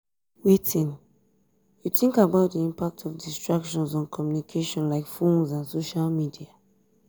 wetin you think about di impact of distractions on communication like phones and social media?